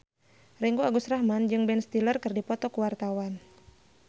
Ringgo Agus Rahman jeung Ben Stiller keur dipoto ku wartawan